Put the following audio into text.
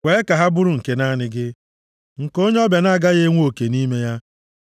Kwee ka ha bụrụ nke naanị gị, nke onye ọbịa na-agaghị enwe oke nʼime ya.